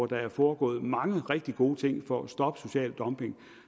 der er foregået mange rigtig gode ting for at stoppe social dumping